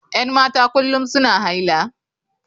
Yan mata kullum suna haila.